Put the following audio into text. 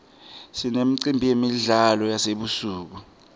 sinemicimbi yemidlalo yasebusuku